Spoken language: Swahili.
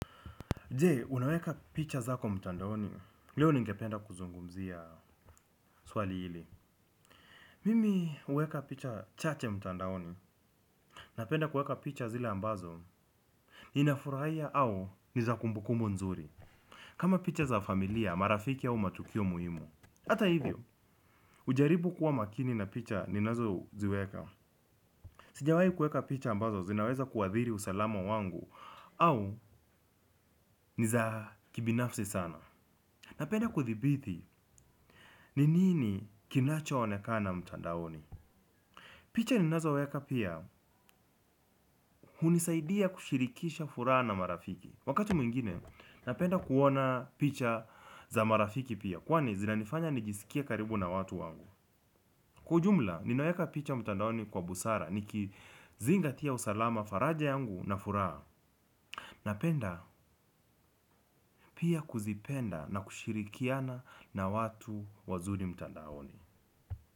Je, unaweka picha zako mtandaoni, leo ningependa kuzungumzia swali hili. Mimi huweka picha chache mtandaoni, napenda kueka picha zile ambazo, ninafurahia au niza kumbukumbu nzuri. Kama picha za familia, marafiki au matukio muhimu. Hata hivyo, hujaribu kuwa makini na picha ninazo ziweka. Sijawai kueka picha ambazo, zinaweza kuadhiri usalama wangu au niza kibinafsi sana. Napenda kuthibithi, ninini kinacho onekana mtandaoni? Picha ninazo weka pia, hunisaidia kushirikisha furaha na marafiki. Wakati mwingine, napenda kuona picha za marafiki pia, kwani zinanifanya nijisikie karibu na watu wangu. Kwa ujumla, ninaweka picha mtandaoni kwa busara, niki zingatia usalama faraja yangu na furaha. Napenda pia kuzipenda na kushirikiana na watu wazuri mtandaoni.